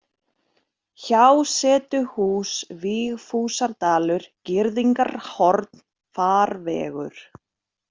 Hjásetuhús, Vigfúsardalur, Girðingarhorn, Farvegur